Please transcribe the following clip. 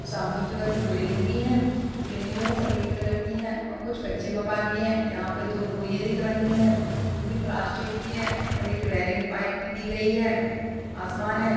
सामने की ओर में बिल्डिंग भी है बिल्डिंग जो है सफ़ेद कलर की है और कुछ कच्चे मकान भी है यहाँ पर दो बोरिया दिख रही हैं जो कि प्लास्टिक की हैं और एक रेलिंग पाइप की दी गयी है आसमान है |